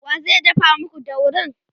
wa zai dafa maku daurin?